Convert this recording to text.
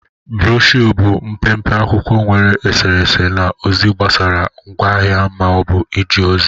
Brosho bụ mpe mpe akwụkwọ nwere eserese na ozi gbasara ngwa ahịa ma ọ bụ ije ozi